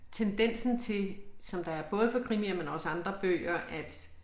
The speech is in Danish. Tendensen til som der er både for krimier men også andre bøger at